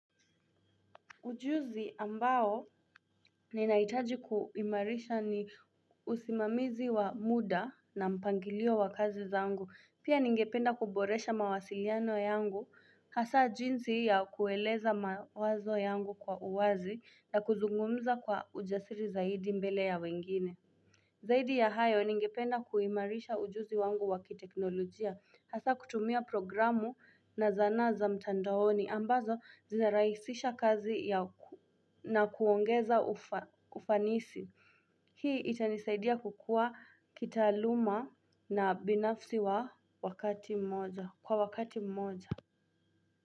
Ujuzi ambao ninaitaji kuimarisha ni usimamizi wa muda na mpangilio wa kazi zaangu, pia ningependa kuboresha mawasiliano yangu, hasa jinzi ya kueleza mawazo yangu kwa uwazi na kuzungumza kwa ujasiri zaidi mbele ya wengine. Zaidi ya hayo ningependa kuimarisha ujuzi wangu wakiteknolojia, hasa kutumia programu na zana za mtandaoni ambazo zizaraisisha kazi ya uku. Na kuongeza ufanisi. Hii itanisaidia kukua kitaaluma na binafsi wa wakati mmoja. Kwa wakati mmoja.